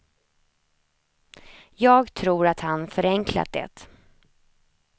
Jag tror att han förenklat det.